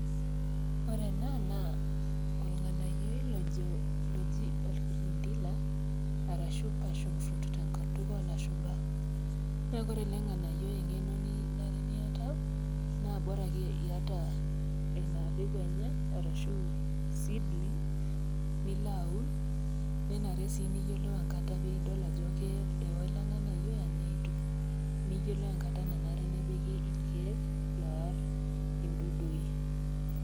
Ore ena naa olng'anayioi lojo, lojii olkirindila arashu passion fruit tenkutuk olashumba. Naa ore ele ng'anayioi eng'eno nanare niata naa bora ake iata ina peku enye arashu seedling pe ilo aun, nenare sii niyiolou enkata peeiyolou ajo ewo ele ng'anayoi anaa eitu. Niyolou enkata nanare nipik ilkeek loar indudui.